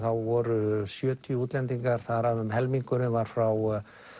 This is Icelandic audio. voru sjötíu útlendingar þar af um helmingurinn var frá